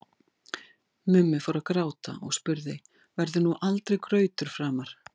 Mummi fór að gráta og spurði: Verður nú aldrei grautur framar?